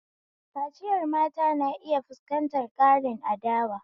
Kaciyar mata na iya fuskantar ƙarin adawa.